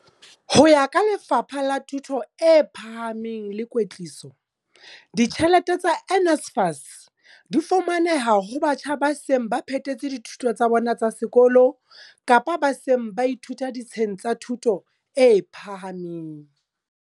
Ho ya ka Lefapha la Thuto e Phahameng le Kwetliso, ditjhelete tsa NSFAS di fumaneha ho batjha ba seng ba phethetse dithuto tsa bona tsa sekolo kapa ba seng ba ithuta ditsheng tsa thuto e phahameng.